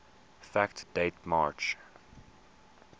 fact date march